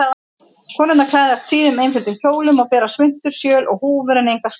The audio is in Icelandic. Konurnar klæðast síðum, einföldum kjólum og bera svuntur, sjöl og húfur en enga skartgripi.